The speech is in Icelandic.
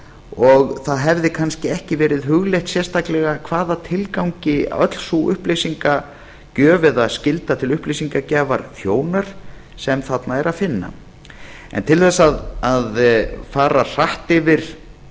og það hefði kannski ekki verið hugleitt sérstaklega hvað tilgangi öll sú upplýsingagjöf eða skylda til upplýsingagjafar þjónar sem þarna er að finna til þess að fara hratt yfir